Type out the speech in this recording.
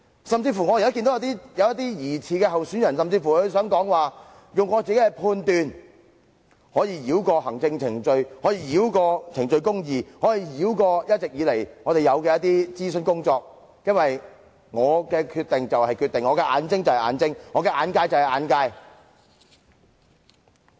甚至有疑似候選人稱，可利用自己的判斷繞過行政程序、程序公義或既有諮詢工作，因為其決定就是決定，其眼睛就是眼睛，其眼界就是眼界。